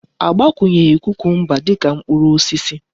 Agbakwunyeghi kucumber dika mkpuru osisi